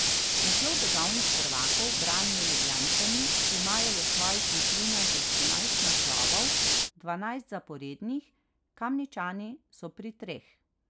Naslov državnih prvakov branijo Ljubljančani, ki imajo v svojih vitrinah že trinajst naslovov, dvanajst zaporednih, Kamničani so pri treh.